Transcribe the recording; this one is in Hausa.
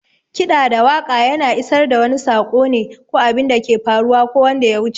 Kiɗa da waƙa yana isar da wani sako ne, ko abinda ke faruwa ko wanda yawuce.